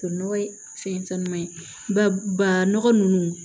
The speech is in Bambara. Nɔgɔ fɛn caman ye ba ba nɔgɔ nunnu